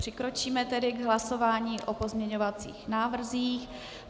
Přikročíme tedy k hlasování o pozměňovacích návrzích.